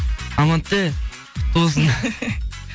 амантэ құтты болсын